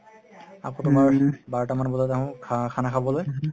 আকৌ তুমাৰ বাৰতা মান বজালে আহো খা খানা খাবলে